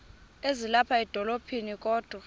ezilapha edolophini kodwa